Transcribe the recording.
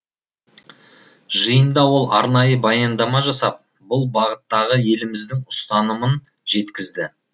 жиында ол арнайы баяндама жасап бұл бағыттағы еліміздің ұстанымын жеткізді